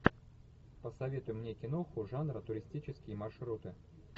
посоветуй мне киноху жанра туристические маршруты